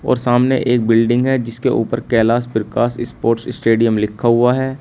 और सामने एक बिल्डिंग है जिसके ऊपर कैलाश प्रकाश स्पोर्ट्स स्टेडियम लिखा हुआ है।